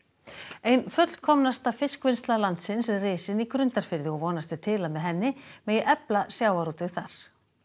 ein fullkomnasta fiskvinnsla landsins er risin í Grundarfirði og vonast er til að með henni megi efla sjávarútveg þar